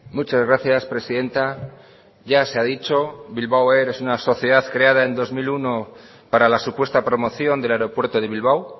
muchas gracias presidenta ya se ha dicho bilbao air es una sociedad creada en dos mil uno para la supuesta promoción del aeropuerto de bilbao